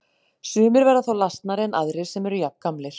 Sumir verða þá lasnari en aðrir sem eru jafngamlir.